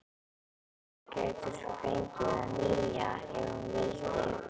Júlía gæti svo fengið það nýja- ef hún vildi.